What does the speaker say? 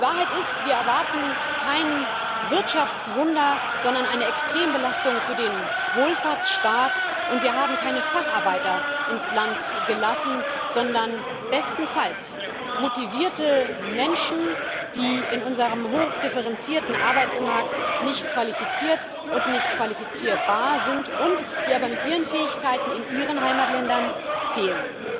Die Wahrheit ist Wir erwarten kein Wirtschaftswunder, sondern eine Extrembelastung für den Wohlfahrtsstaat, und wir haben keine Facharbeiter ins Land gelassen, sondern bestenfalls motivierte Menschen, die in unserem hochdifferenzierten Arbeitsmarkt nicht qualifiziert und nicht qualifizierbar sind, die aber mit ihren Fähigkeiten in ihren Heimatländern fehlen.